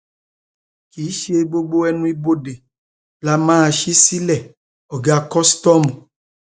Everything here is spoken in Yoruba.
kì í ṣe gbogbo ẹnuibodè la máa ṣí sílẹ ọgá kòsítọọmù